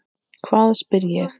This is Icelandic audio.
Hvað? spyr ég.